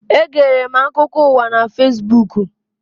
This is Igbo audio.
Egere m akụkọ ụwa na Fesbuku.